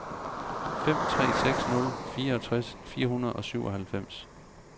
fem tre seks nul fireogtres fire hundrede og syvoghalvfems